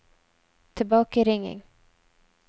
tilbakeringing